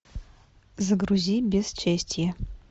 загрузи бесчестье